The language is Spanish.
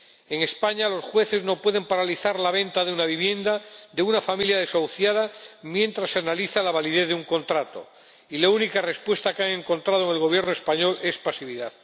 En España, los jueces no pueden paralizar la venta de la vivienda de una familia desahuciada mientras se analiza la validez de un contrato, y la única respuesta que han encontrado en el Gobierno español es pasividad.